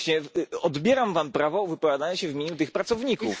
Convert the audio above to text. Dlatego odbieram Wam prawo wypowiadania się w imieniu tych pracowników.